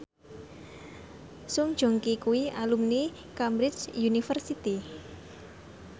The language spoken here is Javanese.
Song Joong Ki kuwi alumni Cambridge University